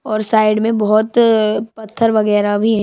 और साइड में बहोत अ पथर वगेरा भी हे।